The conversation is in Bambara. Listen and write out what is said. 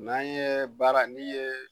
N'an ye baara, ni ye